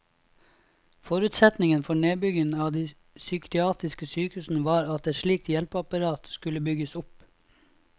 Forutsetningen for nedbyggingen av de psykiatriske sykehusene var at et slikt hjelpeapparat skulle bygges opp.